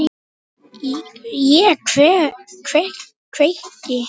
Ég kveiki.